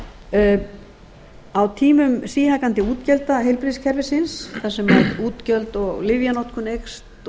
heilbrigðisþjónustunni á tímum síhækkandi útgjalda heilbrigðiskerfisins þar sem útgjöld og lyfjanotkun eykst